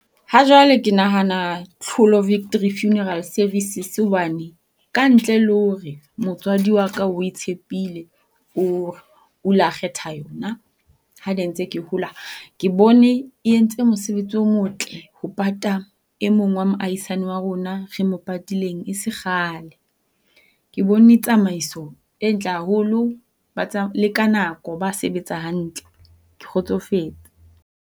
Ha jwale ke nahana Tlholo Victory Funeral Services hobane ka ntle le hore motswadi wa ka o e tshepile o la kgetha yona ha ne ntse ke hola, ke bone e entse mosebetsi o motle ho pata e mong wa moaihisane wa rona e re mo patileng e se kgale. Ke bone tsamaiso e ntle haholo le ka nako ba sebetsa hantle. Ke kgotsofetse.